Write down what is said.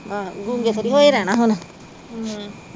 ਆਹੋ ਗੂੰਗੇ ਥੋੜੀ ਹੋਏ ਰਹਿਣਾ ਹੁਣ